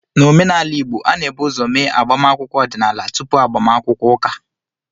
N'omenala Igbo, a na-ebu ụzọ eme agbamakwụkwọ ọdịnala tupu agbamakwụkwọ ụka